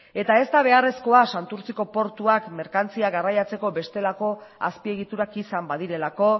eta ez da beharrezkoa santurtziko portuak merkantzia garraiatzeko bestelako azpiegiturak izan badirelako